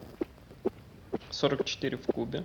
сорок четыре в кубе